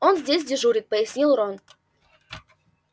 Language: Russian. он здесь дежурит пояснил рон